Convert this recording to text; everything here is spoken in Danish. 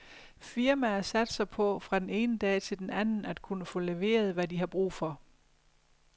Firmaer satser på, fra den ene dag til den anden, at kunne få leveret, hvad de har brug for.